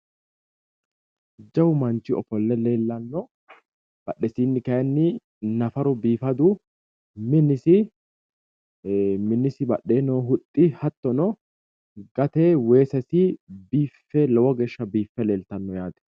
Jawu manchi ofolle leellanno badhesinni kayiinni nafaru biifadu minisi badheenni huxxi hattono gatee weesesi lowo geeshsha biiffe leltanno yaate.